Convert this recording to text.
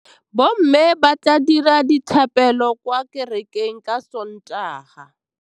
Bommê ba tla dira dithapêlô kwa kerekeng ka Sontaga.